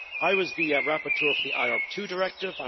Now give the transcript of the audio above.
I was the rapporteur for the IORP II Directive